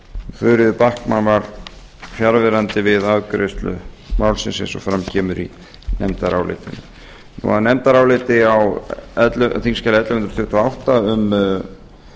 þuríður backman var fjarverandi við afgreiðslu málsins eins og fram kemur í nefndarálitinu að nefndaráliti á þingskjali ellefu hundruð tuttugu og átta um